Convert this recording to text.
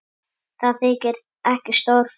Það þykir ekki stór frétt.